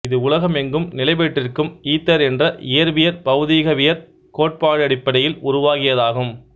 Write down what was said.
இது உலகம் எங்கும் நிலைபெற்றிருக்கும் ஈதர் என்ற இயற்பியற் பௌதீகவியற் கோட்பாட்டடிப்படையில் உருவாகியதாகும்